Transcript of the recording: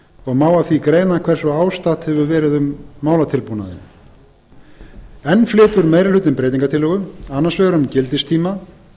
og má af því greina hversu ástatt hefur verið um málatilbúnaðinn enn flytur meiri hlutinn breytingartillögu annars vegar um gildistíma